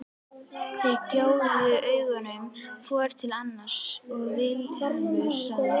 Þeir gjóuðu augunum hvor til annars og Vilhelm sagði